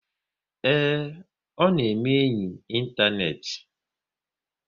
Ee, ọ na-eme enyi ịntanetị